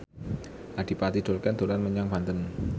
Adipati Dolken dolan menyang Banten